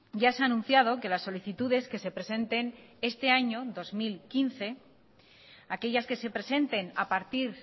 ya se ha anunciado que las solicitudes que se presenten este año dos mil quince aquellas que se presenten a partir